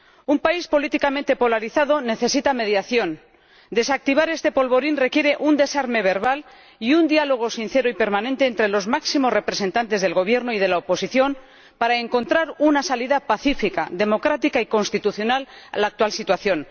Un país políticamente polarizado necesita mediación. Desactivar este polvorín requiere un desarme verbal y un diálogo sincero y permanente entre los máximos representantes del Gobierno y de la oposición para encontrar una salida pacífica, democrática y constitucional a la actual situación.